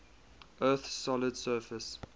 earth's solid surface